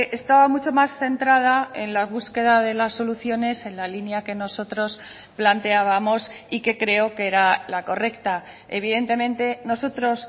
estaba mucho más centrada en la búsqueda de las soluciones en la línea que nosotros planteábamos y que creo que era la correcta evidentemente nosotros